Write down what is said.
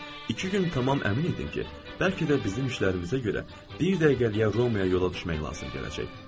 Belə ki, iki gün tamam əmin idim ki, bəlkə də bizim işlərimizə görə bir dəqiqəliyə Romaya yola düşmək lazım gələcək.